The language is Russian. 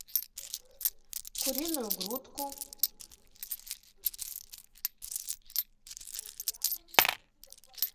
куриную грудку